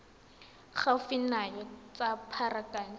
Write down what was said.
gaufi nao ya tsa pharakano